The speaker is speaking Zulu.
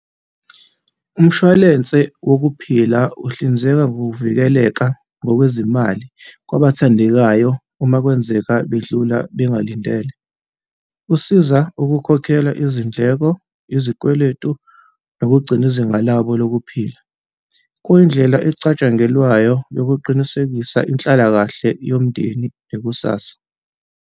Umshwalense wokuphila uhlinzeka ngokuvikeleka ngokwezimali kwabathandekayo uma kwenzeka bedlula bengalindele. Kusiza ukukhokhela izindleko, izikweletu nokugcina izinga labo lokuphila. Kuyindlela ecatshangelwayo yokuqinisekisa inhlalakahle yomndeni nekusasa.